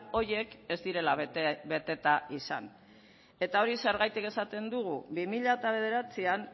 horiek ez direla beteta izan eta hori zergatik esaten dugu bi mila bederatzian